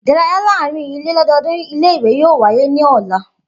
Idaraya laarin ile lododun ile-iwe yoo waye ni ọla.